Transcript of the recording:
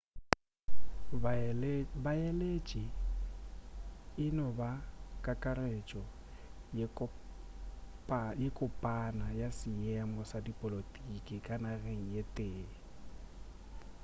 baeletši e no ba kakaretšo ye kopana ya seemo sa dipolotiki ka nageng ye tee